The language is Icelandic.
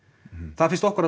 það finnst okkur